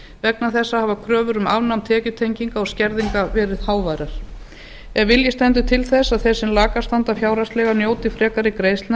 vegna þessa hafa kröfur um afnám tekjutenginga og skerðinga verið háværar ef vilji stendur til þess að þeir sem lakast standa fjárhagslega njóti frekari greiðslna